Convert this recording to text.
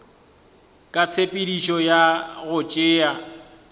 ka tshepedišo ya go tšea